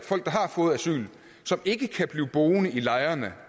fået asyl som ikke kan blive boende i lejrene